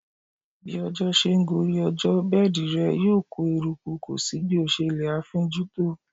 Bí ọjọ́ ṣe ń gorí ọjọ́, bẹ́ẹ̀di rẹ yóò kó eruku kò sí bí o ṣe lè ẹ afínjú tó.